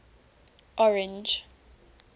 orange